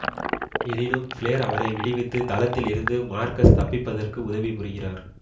எனினும் ப்ளேர் அவரை விடுவித்து தளத்தில் இருந்து மார்கஸ் தப்பிப்பதற்கு உதவி புரிகிறார்